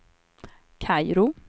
Kairo